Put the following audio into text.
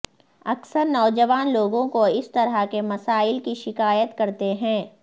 اکثر نوجوان لوگوں کو اس طرح کے مسائل کی شکایت کرتے ہیں